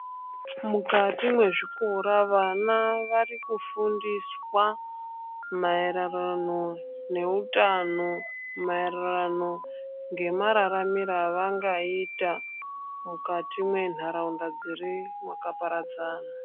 Mukati mwezvikora vana varikufundiswa maererano neutano ,maererano ngemaramiro avangaita mukati mwenharaunda dziri mwakaparadzana.